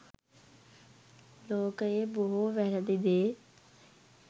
ලෝකයේ බොහෝ වැරැදි දේ